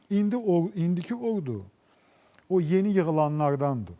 İndi ordu, indiki ordu o yeni yığılanlardandır.